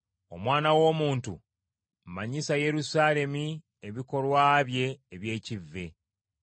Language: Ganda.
“Omwana w’omuntu manyisa Yerusaalemi ebikolwa bye eby’ekivve,